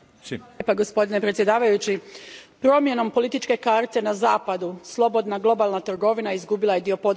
Poštovani predsjedavajući, promjenom političke karte na Zapadu slobodna globalna trgovina izgubila je dio podrške.